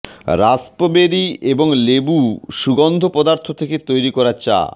raspberry এবং লেবু সুগন্ধ পদার্থ থেকে তৈরি করা চা